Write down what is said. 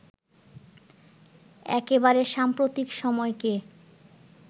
একেবারে সাম্প্রতিক সময়কে